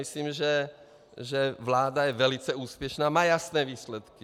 Myslím, že vláda je velice úspěšná, má jasné výsledky.